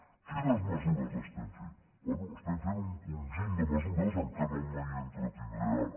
quines mesures estem fent bé estem fent un conjunt de mesures en què no m’entretindré ara